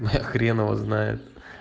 а хрен его знает